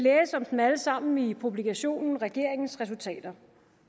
om dem alle sammen i publikationen regeringens resultater